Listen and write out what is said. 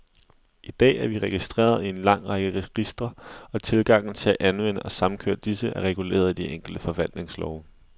I dag er vi registreret i en lang række registre, og tilgangen til at anvende og samkøre disse, er reguleret i de enkelte forvaltningslove.